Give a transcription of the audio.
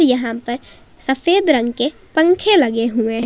यहां पर सफेद रंग के पंखे लगे हुए--